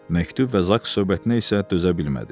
Məktub və Zak söhbətinə isə dözə bilmədi.